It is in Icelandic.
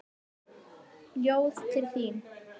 Ljóð til þín.